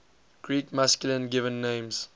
greek masculine given names